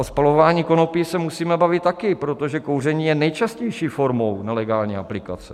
O spalování konopí se musíme bavit taky, protože kouření je nejčastější formou nelegální aplikace.